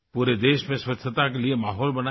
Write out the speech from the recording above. पूरे देश में स्वच्छता के लिए माहौल बनाएं